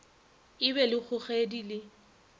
e be le kgogedi le